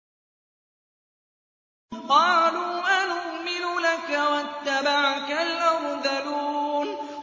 ۞ قَالُوا أَنُؤْمِنُ لَكَ وَاتَّبَعَكَ الْأَرْذَلُونَ